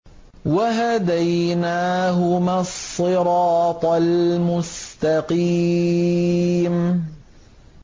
وَهَدَيْنَاهُمَا الصِّرَاطَ الْمُسْتَقِيمَ